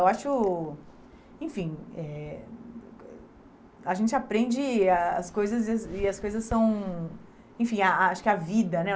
Eu acho... Enfim, eh a gente aprende as coisas e as as coisas são... Enfim, a acho que a vida, né?